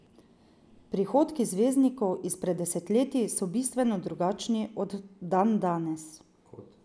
Prihodki zvezdnikov izpred desetletij so bistveno drugačni kot dandanes.